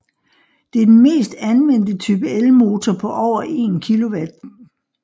Det er den mest anvendte type elmotor på over 1 kW